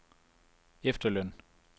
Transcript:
efterløn